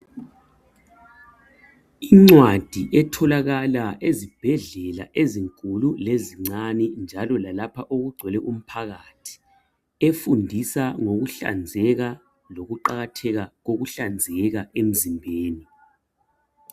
Incwadi etholakala ezibhedlela ezinkulu kanye lezincane njalo lalapha okugcwele umphakathi efundisa ngokuhlanzeka lokuqakatheka kokuhlanzeka emzimbeni.